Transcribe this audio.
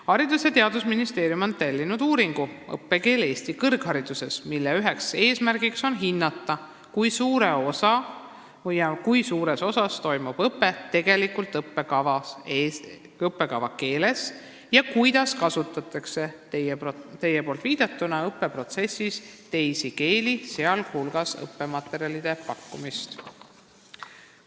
Haridus- ja Teadusministeerium on tellinud uuringu "Õppekeel Eesti kõrghariduses", mille üks eesmärke on hinnata, kui suures osas toimub õpe tegelikult õppekava keeles ja kuidas kasutatakse õppeprotsessis teie viidatud teisi keeli, sh õppematerjalide pakkumist nendes keeltes.